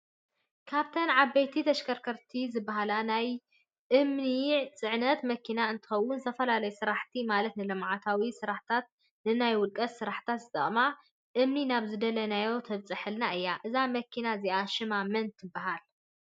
ካብተን ዓበይቲ ተሽከርከርቲ ዝበሃላ ናይ ናይ እምኒ ፅዕነት መኪና እትከውን ዝተፈለለዩ ስራሕቲ ማለት ንልምዓታዊ ስራሕትን ንናይ ውልቀ ስራሕት ዝጠቅመና እምኒ ናብ ዝደለናዮ ተብፀሐልና እያ። እዛ መኪና እዚኣ ሽማ መን ትበሃል ?